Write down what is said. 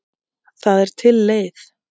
Það er til leið.